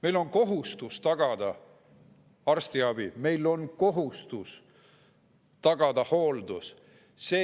Meil on kohustus tagada arstiabi, meil on kohustus tagada hooldus.